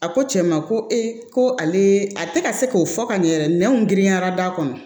A ko cɛ ma ko e ko ale a tɛ ka se k'o fɔ ka ɲɛ yɛrɛ nɛnw girinyara da kɔnɔ